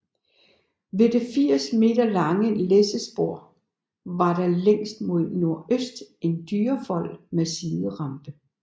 Ved det 80 m lange læssespor var der længst mod nordøst en dyrefold med siderampe